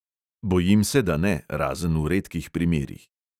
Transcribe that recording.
Bojim se, da ne, razen v redkih primerih.